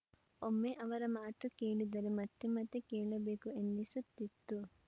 ಒಮ್ಮೆ ಅವರ ಮಾತು ಕೇಳಿದರೆ ಮತ್ತೆ ಮತ್ತೆ ಕೇಳಬೇಕು ಎನ್ನಿಸುತ್ತಿತ್ತು